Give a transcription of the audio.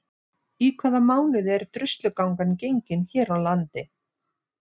Í hvaða mánuði er Druslugangan gengin hér á landi?